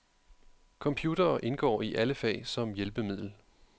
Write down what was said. Computere indgår i alle fag som hjælpemiddel.